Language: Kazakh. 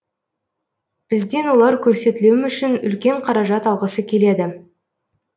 бізден олар көрсетілім үшін үлкен қаражат алғысы келеді